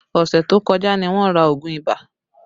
Ọṣẹ tó kọjá ní wọn ra oogun ibà